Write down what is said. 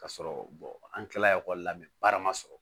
Ka sɔrɔ an kilala ekɔli la baara ma sɔrɔ